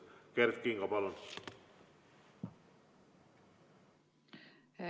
Kert Kingo, palun!